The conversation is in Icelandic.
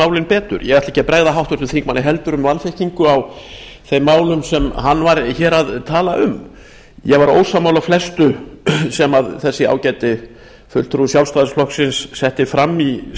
málin betur ég ætla ekki að bregða háttvirtum þingmanni heldur um vanþekkingu á þeim málum sem hann talaði hér um ég var ósammála flestu sem þessi ágæti fulltrúi sjálfstæðisflokksins setti fram í